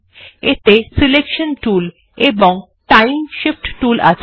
এতে selection tool এবং time Shift tool আছে